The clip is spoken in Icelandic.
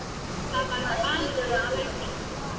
Þar varð banaslys um helgina.